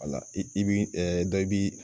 Wala i bi dɔ b'i